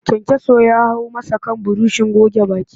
Kayankyaso ya hau masa kan burushin goge baki